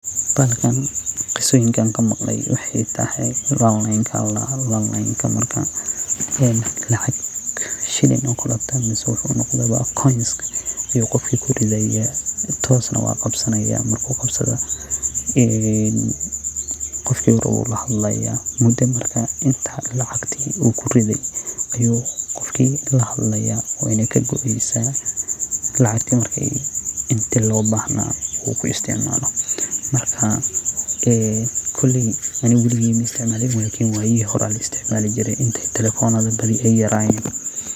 Bahlkkan qisada an kamaqle waxa waye lalin aya ladaha oo lalenka shin mise lacgta koniska aya qofka kuridaya marku kurido toos ayu uqabsanaya oo qofku rawu lahadlaya inta lacagti uu kuride ayu kuhadlaya weyna kagoeysa marku isticmalo. Kooley aniga maisticmalin lakin wayihi hore aya laisticmsli jire intey telefonada yarayen.